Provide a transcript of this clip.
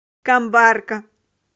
камбарка